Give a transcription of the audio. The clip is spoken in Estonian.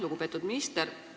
Lugupeetud minister!